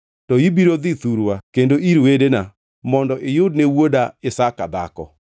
to ibiro dhi thurwa kendo ir wedena mondo iyudne wuoda Isaka dhako.”